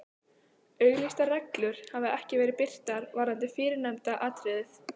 Auglýstar reglur hafa ekki verið birtar varðandi fyrrnefnda atriðið.